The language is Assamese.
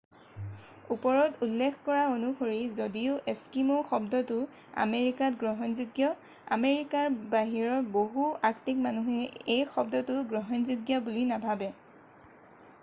"ওপৰত উল্লেখ কৰা অনুসৰি যদিও "এস্কিমো" শব্দটো আমেৰিকাত গ্ৰহণযোগ্য আমেৰিকাৰ বাহিৰৰ বহু আৰ্কটিক মানুহে এই শব্দটো গ্ৰহণযোগ্য বুলি নাভাবে।""